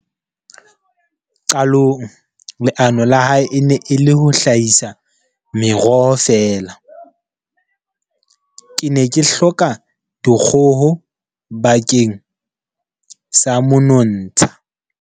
Qalong leano la hae e ne e le ho hlahisa meroho fela. "Ke ne ke hloka dikgoho bakeng sa monontsha.